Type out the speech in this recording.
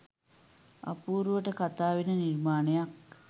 අපූරුවට කතාවෙන නිර්මාණයක්